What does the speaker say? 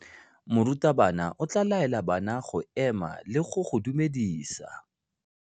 Morutabana o tla laela bana go ema le go go dumedisa.